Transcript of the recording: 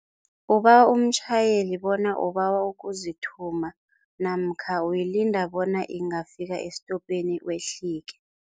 Ubawa umtjhayeli bona ubawa ukuzithuma namkha uyilinda bona ingafika esitopeni wehlike.